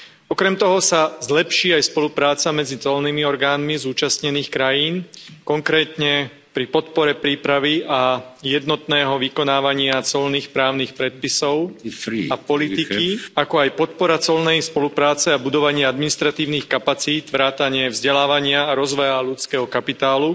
Okrem toho sa zlepší aj spolupráca medzi colnými orgánmi zúčastnených krajín, konkrétne pri podpore prípravy a jednotného vykonávania colných právnych predpisov a politiky, ako aj podpora colnej spolupráce a budovania administratívnych kapacít vrátane vzdelávania a rozvoja ľudského kapitálu,